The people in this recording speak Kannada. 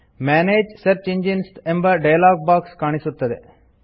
ಮನಗೆ ಸರ್ಚ್ ಎಂಜೈನ್ಸ್ ಎಂಬ ಡಯಲಾಗ್ ಬಾಕ್ಸ್ ತೆರೆಯುತ್ತದೆ